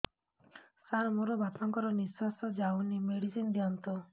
ସାର ମୋର ବାପା ଙ୍କର ନିଃଶ୍ବାସ ଯାଉନି ମେଡିସିନ ଦିଅନ୍ତୁ